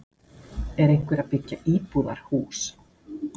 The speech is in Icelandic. Er einhver að byggja íbúðarhús?